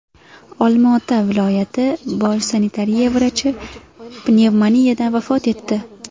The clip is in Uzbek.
Olmaota viloyati bosh sanitariya vrachi pnevmoniyadan vafot etdi.